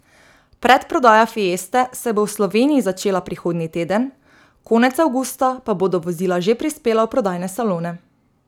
Predprodaja fieste se bo v Sloveniji začela prihodnji teden, konec avgusta pa bodo vozila že prispela v prodajne salone.